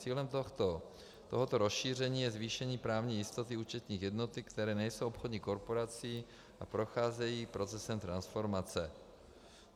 Cílem tohoto rozšíření je zvýšení právní jistoty účetních jednotek, které nejsou obchodní korporací a procházejí procesem transformace.